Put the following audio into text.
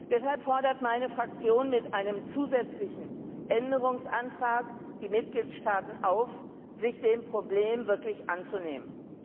Deshalb fordert meine Fraktion mit einem zusätzlichen Änderungsantrag die Mitgliedstaaten auf, sich des Problems wirklich anzunehmen.